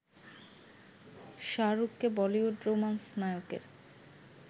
শাহরুখকে Bollywood romance নায়কের